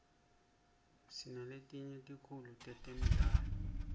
sinaletinye tikhulu manqemdlala